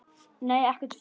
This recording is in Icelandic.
Nei, ekkert frekar.